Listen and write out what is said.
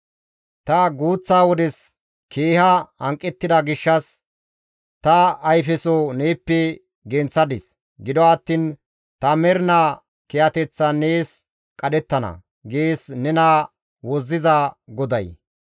Ta guuththa wodes keeha hanqettida gishshas, ta ayfeso neeppe genththadis; gido attiin ta mernaa kiyateththan nees qadhettana» gees nena Wozziza GODAY.